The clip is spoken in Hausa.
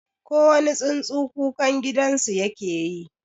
Kowani tsuntsu kukan gidansu yake yi.